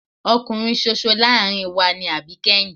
Ọkùnrin ṣoṣo láàárín wa ni àbíkẹ́yìn.